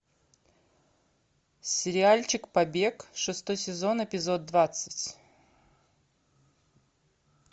сериальчик побег шестой сезон эпизод двадцать